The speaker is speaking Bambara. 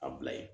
A bila ye